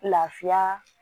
Lafiya